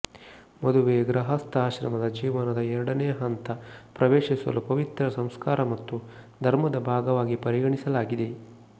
ಮದುವೆ ಗೃಹಸ್ಥ ಆಶ್ರಮದ ಜೀವನದ ಎರಡನೇ ಹಂತ ಪ್ರವೇಶಿಸಲು ಪವಿತ್ರ ಸಂಸ್ಕಾರ ಮತ್ತು ಧರ್ಮದ ಭಾಗವಾಗಿ ಪರಿಗಣಿಸಲಾಗಿದೆ